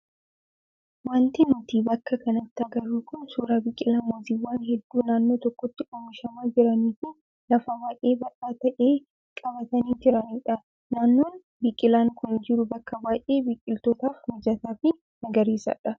Wanti nuti bakka kanatti agarru kun suuraa biqilaa muuziiwwan hedduu naannoo tokkotti oomishamaa jiranii fi lafa baay'ee bal'aa ta'e qabatanii jiranidha. Naannoon biqilaan kun jiru bakka baay'ee biqilootaaf mijataa fi magariisadha.